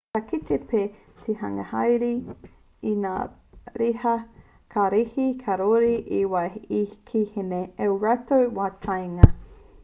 ka kite pea te hunga hāereere i ngā riha kararehe kāore i te waia ki ēnei ki ō rātou wā kāinga